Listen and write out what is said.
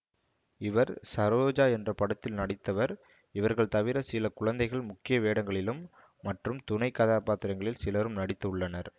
இவர் சரோஜா என்ற படத்தில் நடித்தவர் இவர்கள் தவிர சில குழந்தைகள் முக்கிய வேடங்களிலும் மற்றும் துணை கதாபாத்திரங்களில் சிலரும் நடித்து உள்ளனர்